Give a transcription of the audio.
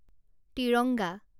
Tiranga